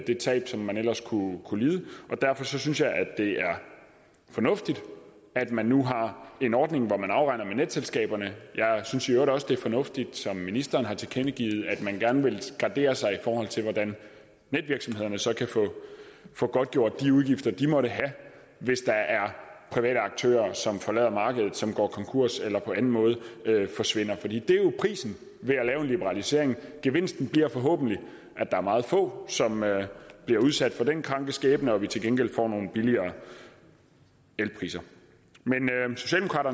det tab som man ellers kunne kunne lide og derfor synes jeg at det er fornuftigt at man nu har en ordning hvor man afregner med netselskaberne jeg synes i øvrigt også at det er fornuftigt som ministeren har tilkendegivet at man gerne vil gardere sig i forhold til hvordan netvirksomhederne så kan få godtgjort de udgifter de måtte have hvis der er private aktører som forlader markedet som går konkurs eller på en måde forsvinder fordi det jo er prisen ved at lave en liberalisering gevinsten bliver forhåbentlig at der er meget få som bliver udsat for den kranke skæbne og vi til gengæld får nogle billigere elpriser